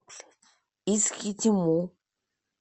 искитиму